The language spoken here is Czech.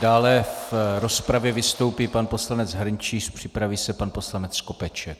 Dále v rozpravě vystoupí pan poslanec Hrnčíř, připraví se pan poslanec Skopeček.